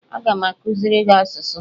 Aga m amụziri gị asụsụ